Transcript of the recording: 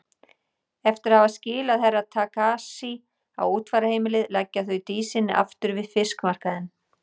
Eftir að hafa skilað Herra Takashi á útfararheimilið leggja þau Dísinni aftur við fiskmarkaðinn.